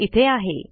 ते इथे आहे